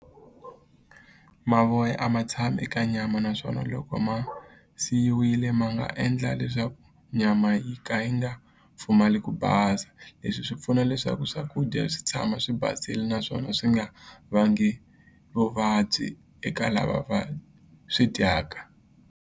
Mavoya a ma tshami naswona loko ma siyiwile ma nga endla leswaku nyama yi pfumale ku basa leswi swi pfuna leswaku swakudya swi tshama swi basini naswona swi nga vangi vuvabyi eka lava va swi dyaka.